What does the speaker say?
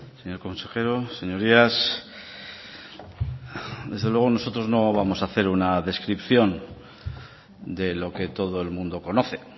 señor consejero señorías desde luego nosotros no vamos a hacer una descripción de lo que todo el mundo conoce